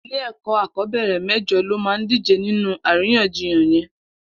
Ilé ẹkọ akọbẹrẹ mẹjọ ló má dijé ninú àríyànjíyàn yèn